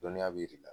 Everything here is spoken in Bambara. Dɔnniya b'i la